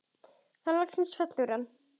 Þá loksins fellur hann.